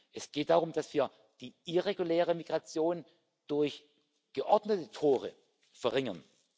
Es geht darum, dass wir die irreguläre Migration durch geordnete Tore verringern.